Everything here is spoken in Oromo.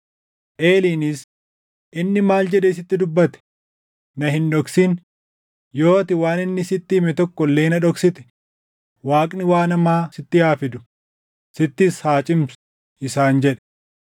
Eeliinis, “Inni maal jedhee sitti dubbate? Na hin dhoksin; yoo ati waan inni sitti hime tokko illee na dhoksite Waaqni waan hamaa sitti haa fidu; sittis haa cimsu” isaan jedhe.